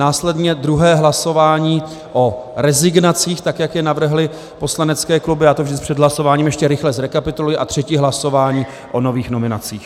Následně druhé hlasování o rezignacích tak, jak je navrhly poslanecké kluby, já to vždy před hlasováním ještě rychle zrekapituluji, a třetí hlasování o nových nominacích.